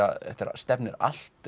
stefnir allt